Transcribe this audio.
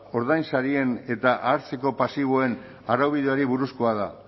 ordainsarien eta hartzeko pasiboen araubideari buruzkoa da